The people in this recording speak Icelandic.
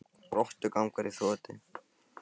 Rottugangur í þotu